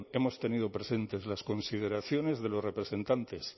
hemos tenido presentes las consideraciones de los representantes